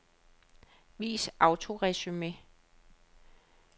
Vis autoresumé.